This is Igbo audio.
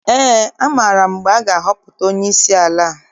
Ee, amaara m mgbe a ga-ahọpụta onyeisi ala.